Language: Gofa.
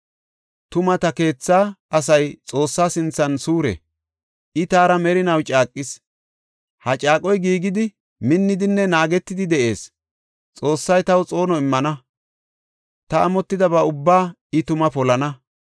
Tuma ta keetha asay Xoossa sinthan suure; I taara merinaw caaqis; ha caaqoy giigidi, minnidinne naagetidi de7ees. Xoossay taw xoono immana; ta amotidaba ubbaa I tuma polana.